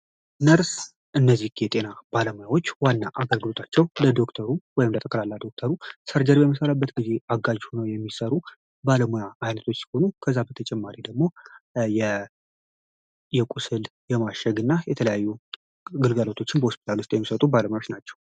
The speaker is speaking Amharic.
ነርስ እነዚህ የጤና ባለሙያዎች ዋና አገልግሎታቸው ለዶክተሩም ወይም ለተከላላ ዶክተሩ ሰርጀሪ በሚሰራበት ጊዜ አጋዥ ሆነው የሚሰሩ ባለሙያ አይነቶች ሲሆኑ ከዛ በተጨማሪ ደግሞ የቁስል የማሸግ እና የተለያዩ ግልገለቶችን በሆስፒታሉ የሚሰጡ ባለሙያዎች ናቸው።